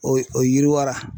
O o yiriwara.